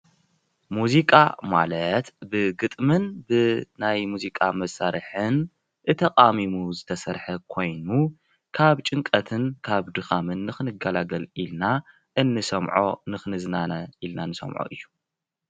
ሙዚቓ ማለት ብግጥምን ብናይ ሙዚቓ መሰርሕን እተቃሚሙ ዝተሰርሐ ኮይኑ ካብ ጭንቀትን ካብ ድካምን ንክንጋለገል ኢልና ኢንሰምዖ ንክንዝናነ ኢልና ንሰምዖ እዩ።